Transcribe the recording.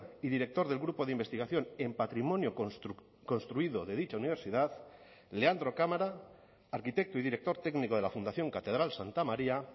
y director del grupo de investigación en patrimonio construido de dicha universidad leandro cámara arquitecto y director técnico de la fundación catedral santa maría